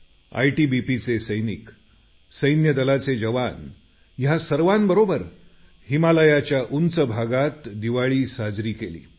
आयटीबीपीचे सैनिक सैन्य दलाचे जवान या सर्वांबरोबर हिमालयाच्या उंच भागात मी दिवाळी साजरी केली